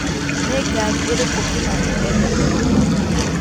nĩ ngari ĩrikũ kimani endete mũno